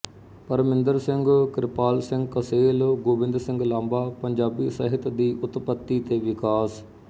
ਪਰਮਿੰਦਰ ਸਿੰਘ ਕਿਰਪਾਲ ਸਿੰਘ ਕਸੇਲ ਗੋਬਿੰਦ ਸਿੰਘ ਲਾਂਬਾ ਪੰਜਾਬੀ ਸਾਹਿਤ ਦੀ ਉਤਪੱਤੀ ਤੇ ਵਿਕਾਸ